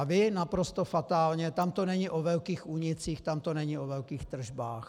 A vy naprosto fatálně - tam to není o velkých únicích, tam to není o velkých tržbách.